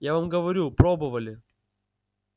я вам говорю пробовали